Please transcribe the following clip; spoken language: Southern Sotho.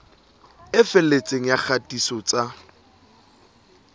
e felletseng ya kgatiso tsa